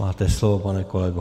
Máte slovo, pane kolego.